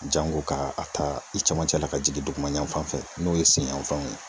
Jango ka a ta i cɛmancɛ la, ka jigin duguma yan fan fɛ n'o ye sen yanfanw ye.